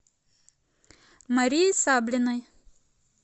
марии саблиной